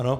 Ano.